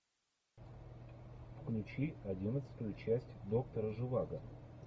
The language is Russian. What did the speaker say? включи одиннадцатую часть доктора живаго